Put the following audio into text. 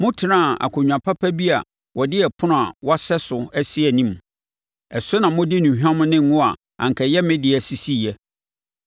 Motenaa akonnwa papa bi a wɔde ɛpono a wɔasɛ so asi anim. Ɛso na mode nnuhwam ne ngo a anka ɛyɛ me dea sisiiɛ.